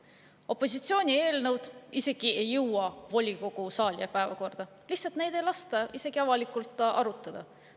Opositsiooni eelnõud isegi ei jõua volikogu saali ja päevakorda, lihtsalt neid ei lasta isegi avalikult arutada.